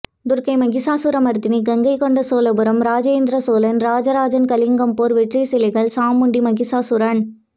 துர்க்கை மகிஷாசுரமர்த்தினி கங்கைகொண்ட சோழபுரம் ராஜேந்திர சோழன் ராஜராஜன் கலிங்கம் போர் வெற்றி சிலைகள் சாமுண்டி மகிஷாசூரன்